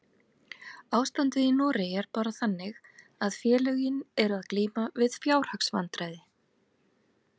Ástandið í Noregi er bara þannig að félögin eru að glíma við fjárhagsvandræði.